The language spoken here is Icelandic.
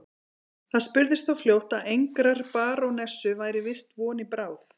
Það spurðist þó fljótt að engrar barónessu væri víst von í bráð.